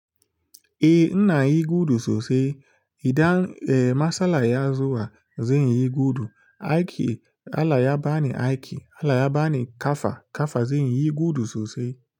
Eh, ina yi gudu sosai. Idan eh matsala ya zo, zan yi gudu. Aiki Allah ya bani aiki, Allah ya bani ƙafa, ƙafa, zanyi gudu sosai.